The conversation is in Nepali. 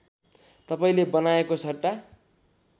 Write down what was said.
तपाईँले बनाएको सट्टा